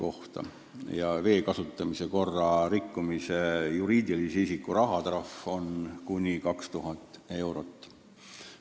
Juriidiline isik peab vee kasutamise korra rikkumise eest maksma rahatrahvi kuni 2000 eurot.